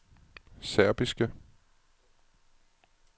serbiske